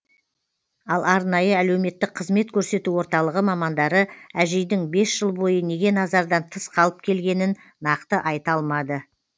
ал арнайы әлеуметтік қызмет көрсету орталығы мамандары әжейдің бес жыл бойы неге назардан тыс қалып келгенін нақты айта алмады